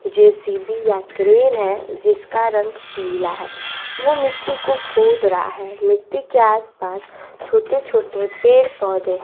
JCB या crane है जिसका रंग पीला है वो मिट्टी को खोद रहा है मिट्टी के आसपास छोटे छोटे पेड़ पौधे है।